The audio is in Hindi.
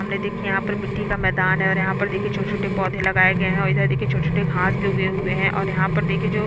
सामने देखिये यहाँ पर मिट्टी का मैदान है और यहाँ पर देखे छोटे-छोटे पौधे लगाए गए है और इधर देखिये छोटे-छोटे घास भी उगे हुए है और यहाँ पर देखिये जो--